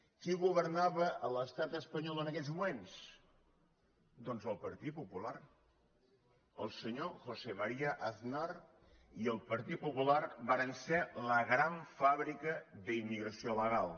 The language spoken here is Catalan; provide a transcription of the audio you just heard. qui governava a l’estat espanyol en aquells moments doncs el partit popular el se·nyor josé maría aznar i el partit popular varen ser la gran fàbrica d’immigració il·legal